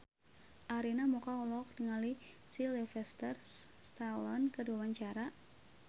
Arina Mocca olohok ningali Sylvester Stallone keur diwawancara